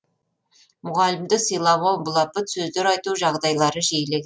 мұғалімді сыйламау былапыт сөздер айту жағдайлары жиіле